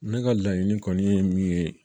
Ne ka laɲini kɔni ye min ye